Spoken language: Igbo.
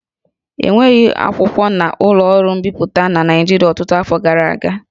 E nweghị akwụkwọ na ụlọ ọrụ mbipụta na Naịjirịa ọtụtụ afọ gara aga